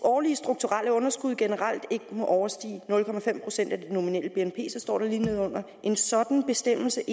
årlige strukturelle underskud generelt ikke må overstige nul procent af det nominelle bnp og så står der lige nedenunder at en sådan bestemmelse